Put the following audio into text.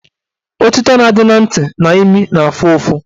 Otito dị na ntị na imi na-afụ ụfụ